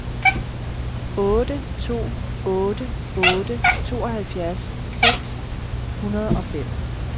otte to otte otte tooghalvfjerds seks hundrede og fem